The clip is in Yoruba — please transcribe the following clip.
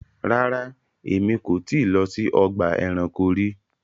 Ràrá, ẹ̀mi kò ti lọ sí ọgba ẹ̀ránkò rí